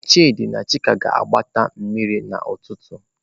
Chidi na chika ga-ebutere mmiri n'ututu.